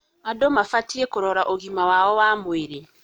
Andũ mabatiĩ kũrora ũgima wao wa mwĩrĩ.